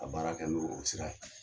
A baara kɛ n'o o sira ye.